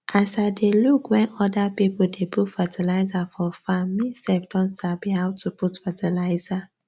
as i dey look when other people dey put fertilizer for farm me sef don sabi how to put fertilizer